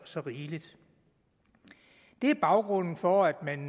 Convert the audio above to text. så rigeligt det er baggrunden for at man